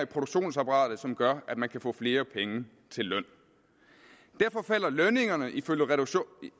produktionsapparatet som gør at man kan få flere penge til løn lønningerne vil